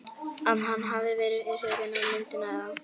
að hann hafi verið hrifinn af myndinni eða.